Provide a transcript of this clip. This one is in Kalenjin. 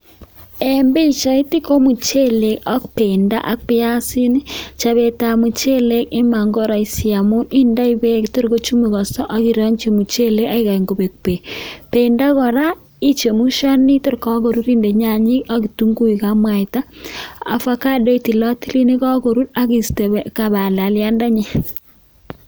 En pichait ko muchelek ak bendo ak piasinik chopetab muchelek iman koroisi amun indoi beek torkochumukoso akirongyi muchelek akikany kobek beek, bendo kora ichemshani tor kakoru inde nyanyik akitunguik ak mwaita, avocado itilotil nekokorur akiste balaliandenyin.